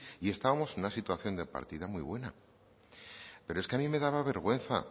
y estábamos en una situación de partida muy buena pero es que a mí me daba vergüenza